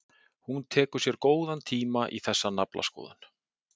Hún tekur sér góðan tíma í þessa naflaskoðun.